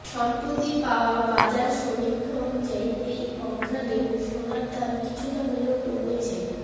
সম্প্রতি পাওয়া বাজার সমীক্ষা অনুযায়ী এই অঘ্রাণে সোনার দাম কিছুটা হলেও কমেছে